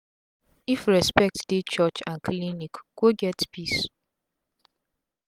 if respect dey church and clinic go get peace